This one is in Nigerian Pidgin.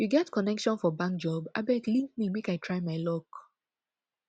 you get connection for bank job abeg link me make i try my luck